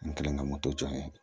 N kɛlen ka moto n ye